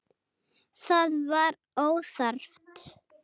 Það var óþarft.